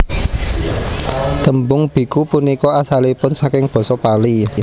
Tembung biku punika asalipun saking basa Pali